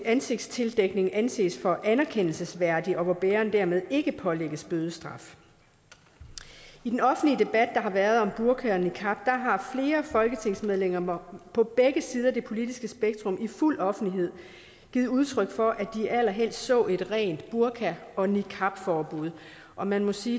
ansigtstildækning anses for anerkendelsesværdigt og hvor bæreren dermed ikke pålægges bødestraf i den offentlige debat der har været om burka og niqab har flere folketingsmedlemmer på begge sider af det politiske spektrum i fuld offentlighed givet udtryk for at de allerhelst så et rent burka og niqabforbud og man må sige